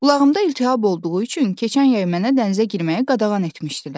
Qulağımda iltihab olduğu üçün keçən yay mənə dənizə girməyi qadağan etmişdilər.